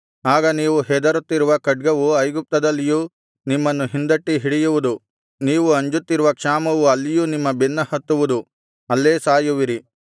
ಆಗ ನೀವು ಹೆದರುತ್ತಿರುವ ಖಡ್ಗವು ಐಗುಪ್ತದಲ್ಲಿಯೂ ನಿಮ್ಮನ್ನು ಹಿಂದಟ್ಟಿ ಹಿಡಿಯುವುದು ನೀವು ಅಂಜುತ್ತಿರುವ ಕ್ಷಾಮವು ಅಲ್ಲಿಯೂ ನಿಮ್ಮ ಬೆನ್ನ ಹತ್ತುವುದು ಅಲ್ಲೇ ಸಾಯುವಿರಿ